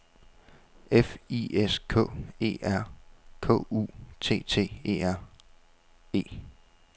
F I S K E R K U T T E R E